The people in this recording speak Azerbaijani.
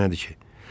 Bu nədir ki?